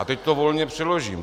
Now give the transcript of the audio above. A teď to volně přeložím.